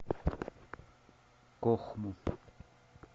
кохму